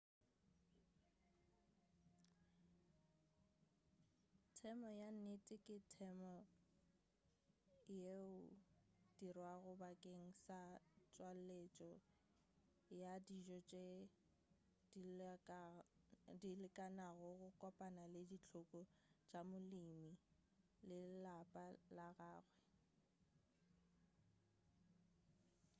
temo ya nnete ke temo yeo e dirwago bakeng sa tšweletšo ya dijo tše dilekanego go kopana le dihloko tša molemi le lapa la gagwe